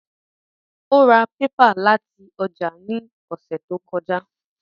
Ó ra pépà láti ọjà ní ọ̀sẹ̀ tó kọjá